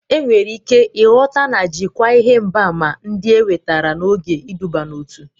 Enwere ike ịghọta na jikwaa ihe mgbaàmà ndị enwetara n'oge iduban'otu.